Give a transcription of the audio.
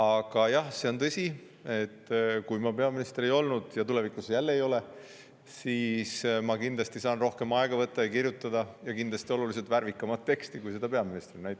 Aga jah, see on tõsi, et kui ma peaminister ei olnud – ja tulevikus jälle, kui ei ole –, siis ma kindlasti sain rohkem aega võtta ja kirjutada kindlasti oluliselt värvikamat teksti kui peaministrina.